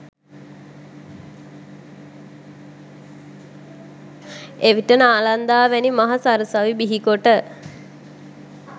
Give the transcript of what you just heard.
එවිට නාලන්දා වැනි මහා සරසවි බිහිකොට